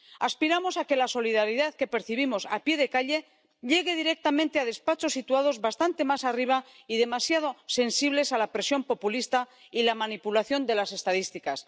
Aspiramos a que la solidaridad que percibimos a pie de calle llegue directamente a despachos situados bastante más arriba y demasiado sensibles a la presión populista y la manipulación de las estadísticas.